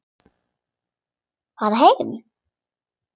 Fara heim!